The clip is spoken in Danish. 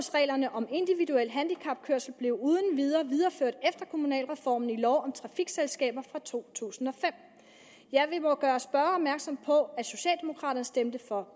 om individuel handicapkørsel blev uden videre videreført efter kommunalreformen i lov om trafikselskaber fra to tusind og fem ja vi må gøre spørgeren opmærksom på at socialdemokraterne stemte for